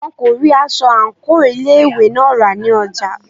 Wọn kò rí aṣọ àńkò ilé ìwé náà rà ní ọjà.